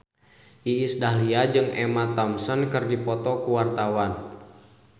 Iis Dahlia jeung Emma Thompson keur dipoto ku wartawan